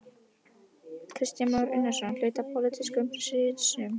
Kristján Már Unnarsson: Hluti af pólitískum hreinsunum?